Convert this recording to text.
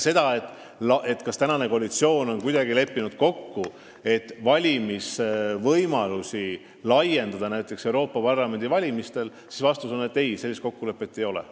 Kui te küsite, kas praegune koalitsioon on leppinud kokku selles, et laiendada näiteks valimisvõimalusi Euroopa Parlamendi valimistel, siis vastus on ei – sellist kokkulepet ei ole.